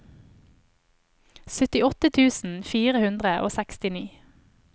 syttiåtte tusen fire hundre og sekstini